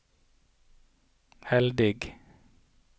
heldig